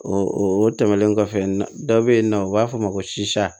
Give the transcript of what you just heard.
O tɛmɛnen kɔfɛ dɔ be yen nɔ u b'a fɔ ma ko sisa